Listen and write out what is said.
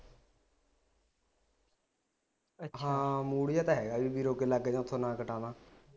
ਹਾਂ ਮੂੜ ਜਾ ਤਾ ਹੈਗਾ ਬਾਈ ਉਥੇ ਨਾ ਕਟਾ ਲਾ